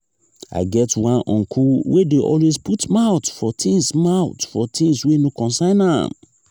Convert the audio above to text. i get one uncle wey dey always put mouth for tins mouth for tins wey no concern am.